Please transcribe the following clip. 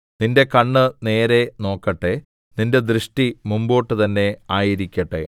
നിന്റെ കണ്ണ് നേരെ നോക്കട്ടെ നിന്റെ ദൃഷ്ടി മുമ്പോട്ട് തന്നെ ആയിരിക്കട്ടെ